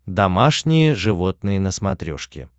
домашние животные на смотрешке